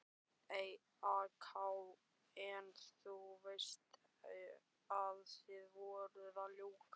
AK: En þú veist að þið voruð að ljúga?